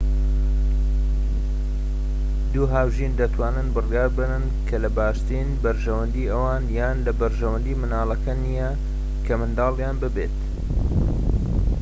دوو هاوژین دەتوانن بڕیار بدەن کە لە باشترین بەرژەوەندیی ئەوان یان لە بەرژەوەندی منداڵەکە نیە کە منداڵیان ببێت